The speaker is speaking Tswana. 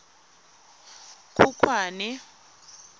khukhwane